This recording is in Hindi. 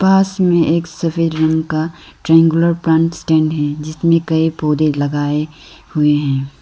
पास में एक सफेद रंग का ट्रायंगुलर प्लांट स्टैंड है जिसमें कई पौधे लगाए हुए हैं।